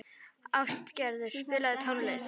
Ástgerður, spilaðu tónlist.